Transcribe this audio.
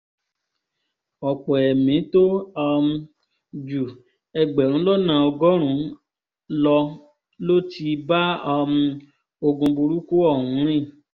ọ̀pọ̀ ẹ̀mí tó um ju ẹgbẹ̀rún lọ́nà ọgọ́rùn-ún lọ ló ti bá um ogún burúkú ọ̀hún rìn